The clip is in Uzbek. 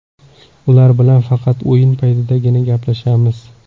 Ular bilan faqat o‘yin paytidagina gaplashamiz.